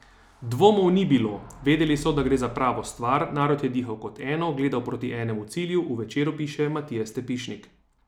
Dvomov ni bilo, vedeli so, da gre za pravo stvar, narod je dihal kot eno, gledal proti enemu cilju, v Večeru piše Matija Stepišnik.